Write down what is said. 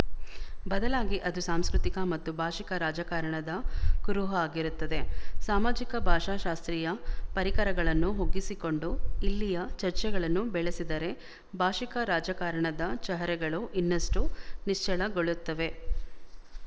ಬದಲಾಗಿ ಅದು ಸಾಂಸ್ಕೃತಿಕ ಮತ್ತು ಭಾಶಿಕ ರಾಜಕಾರಣದ ಕುರುಹು ಆಗಿರುತ್ತದೆ ಸಾಮಾಜಿಕ ಭಾಷಾಶಾಸ್ತ್ರೀಯ ಪರಿಕರಗಳನ್ನು ಒಗ್ಗಿಸಿಕೊಂಡು ಇಲ್ಲಿಯ ಚರ್ಚೆಗಳನ್ನು ಬೆಳೆಸಿದರೆ ಭಾಶಿಕ ರಾಜಕಾರಣದ ಚಹರೆಗಳು ಇನ್ನಷ್ಟೂ ನಿಚ್ಚಳಗೊಳ್ಳುತ್ತವೆ